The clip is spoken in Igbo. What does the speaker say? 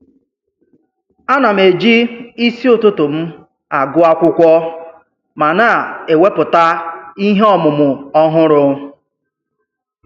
Ana m eji isi ụtụtụ m agụ akwụkwọ ma na-ewepụta ihe ọmụmụ ọhụrụ.